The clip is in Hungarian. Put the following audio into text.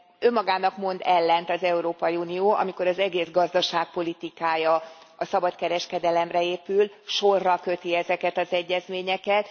Önmagának mond ellent az Európai Unió, amikor az egész gazdaságpolitikája a szabad kereskedelemre épül, sorra köti ezeket az egyezményeket.